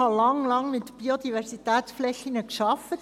Ich habe lange mit Biodiversitätsflächen gearbeitet.